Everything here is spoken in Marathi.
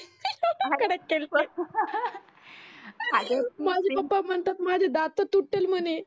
हातोड्यानी माझे पप्पा म्हणतात माझे दात तुटतील म्हणे.